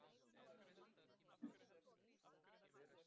Sama hvað gekk á.